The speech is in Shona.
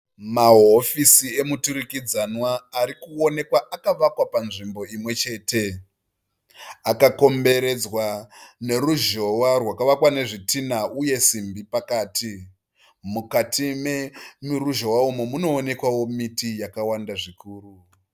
Mahofisi emuturikidzwana ari kuonekwa akavakwa panzvimbo imwe chete. Akakomberedzwa neruzhowa rwakavakwa nezvitinha uye simbi pakati. Mukati meruzhowa umu munoonekwawo miti yakawanda zvikuru.